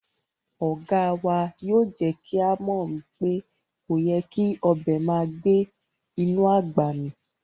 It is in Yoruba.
Oga wa yoo je ki a mo wipe koyè́ kí ọbẹ màá gbẹ̀ inú agbá mí